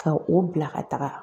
Ka o bila ka taga.